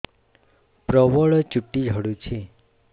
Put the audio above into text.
ପ୍ରବଳ ଚୁଟି ଝଡୁଛି